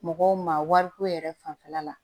Mɔgɔw ma wariko yɛrɛ fanfɛla la